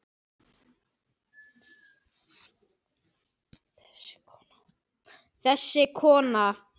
Þessi kona!